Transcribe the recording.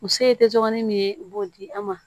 Muso ye te dɔgɔnin min ye u b'o di an ma